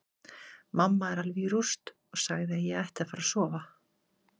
Mamma er alveg í rúst og sagði að ég ætti að fara að sofa.